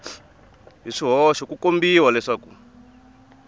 hi swihoxo ku kombisa leswaku